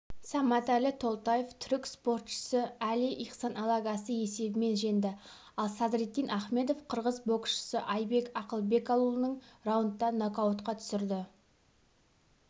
саматәлі толтаев түрік спортшысы али ихсан алагасты есебімен жеңді ал садриддин ахмедов қырғыз боксшысы айбек ақылбекауулын раундта нокаутқа түсірді